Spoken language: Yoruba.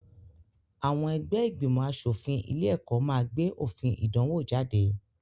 Àwọn ẹgbẹ́ ìgbìmọ̀-aṣòfin ilé-ẹ̀kọ́ máa gbé òfin ìdánwò jáde.